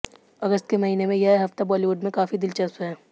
अगस्त के महीने में यह हफ्ता बॉलीवुड में काफी दिलचस्प है